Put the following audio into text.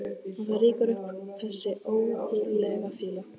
Og það rýkur upp þessi ógurlega fýla.